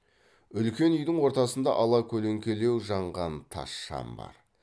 үлкен үйдің ортасында ала көлеңкелеу жанған тас шам бар